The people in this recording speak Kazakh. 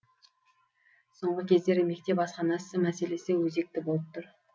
соңғы кездері мектеп асханасы мәселесі өзекті болып тұр